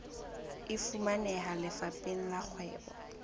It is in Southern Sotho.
e fumaneha lefapheng la kgwebo